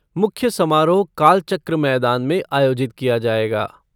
मुख्य समारोह कालचक्र मैदान में आयोजित किया जायेगा।